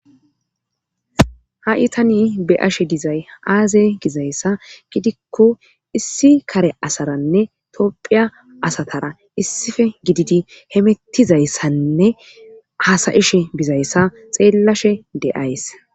Ha itani be7ashe dizay aaze gizayssa gidikko issi kare asaranne topphiya asatara issife gididi hemettizayssanne hasayishe bizayssa xeellashe de7ays